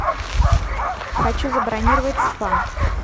хочу забронировать спа